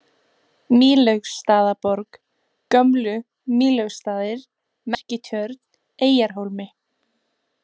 Mýlaugsstaðaborg, Gömlu-Mýlaugsstaðir, Merkitjörn, Eyjarhólmi